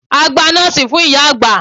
A gba noòsì fún ìyá-àgbà.